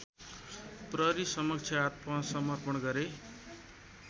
प्रहरीसमक्ष आत्मसमर्पण गरे